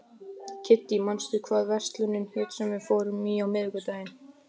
Kiddý, manstu hvað verslunin hét sem við fórum í á miðvikudaginn?